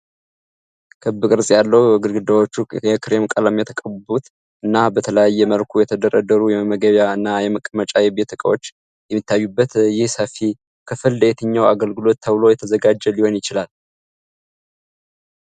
ክብ ቅርጽ ያለው፣ ግድግዳዎቹ የክሬም ቀለም የተቀቡበት እና በተለያየ መልኩ የተደረደሩ የመመገቢያ እና የመቀመጫ የቤት እቃዎች የሚታዩበት ይህ ሰፊ ክፍል። ለየትኛው አገልግሎት ተብሎ የተዘጋጀ ሊሆን ይችላል?